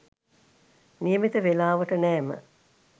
නියමිත වේලාවට නෑම